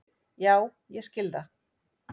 Já ég skil það.